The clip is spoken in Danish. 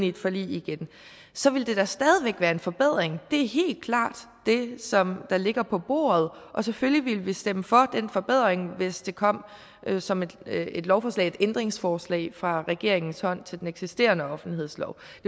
et forlig igen så ville det da stadig væk være en forbedring det er helt klart det som der ligger på bordet og selvfølgelig ville vi stemme for den forbedring hvis det kom som et ændringsforslag fra regeringens hånd til den eksisterende offentlighedslov